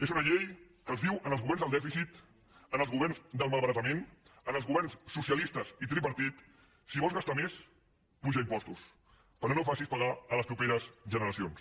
és una llei que els diu als governs del dèficit als governs del malbaratament als governs socialistes i tripartit si vols gastar més apuja impostos però no ho facis pagar a les properes generacions